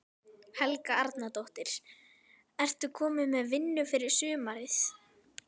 Helga Arnardóttir: Ert þú komin með vinnu fyrir sumarið?